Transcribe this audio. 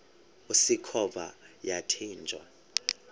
usikhova yathinjw a